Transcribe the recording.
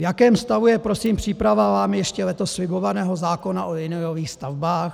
V jakém stavu je prosím příprava vámi ještě letos slibovaného zákona o liniových stavbách?